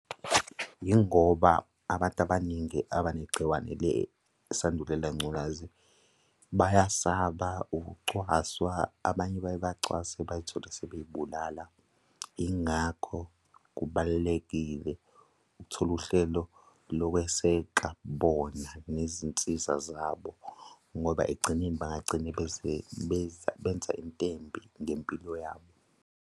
Yingoba abantu abaningi abanegciwane lesandulela ngculazi bayasaba ukucwaswa, abanye baye bacwaswe bay'thole sebey'bulala. Yingakho kubalulekile ukuthola uhlelo lokweseka bona nezinsiza zabo ngoba ekugcineni bangagcine benza into embi ngempilo yabo.